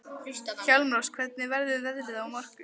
Hjálmrós, hvernig verður veðrið á morgun?